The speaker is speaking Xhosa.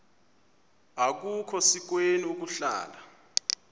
akukhona sikweni ukuhlala